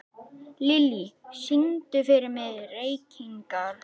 Lilly, syngdu fyrir mig „Reykingar“.